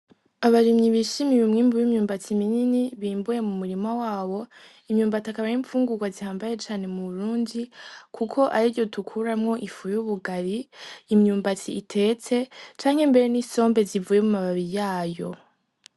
Abarimyi bishimiye umwimbu w'imyumbati minini bimbuye mu murima wabo imyumbati akaba ari imfungurwa zihambaye cane mu burundi kuko aryo dukuramwo ifu y'ubugari imyumbati itetse canke mbere n'isombe zivuye mu mababi yayo.